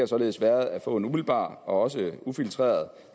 således været at få en umiddelbar og også ufiltreret